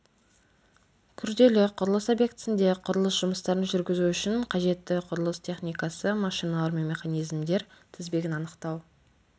күрделі құрылыс объектісінде құрылыс жұмыстарын жүргізу үшін қажетті құрылыс техникасы машиналар мен механизмдер тізбесін анықтау